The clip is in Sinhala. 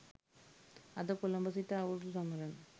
අද කොළඹ සිට අවුරුදු සමරන